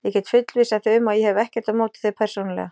Ég get fullvissað þig um að ég hef ekkert á móti þér persónulega.